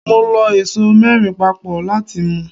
Mo lọ ẹso mẹ́rin papọ̀ láti mu.